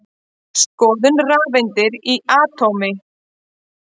Skoðum rafeindir í atómi.